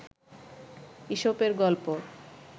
ঈশপের গল্প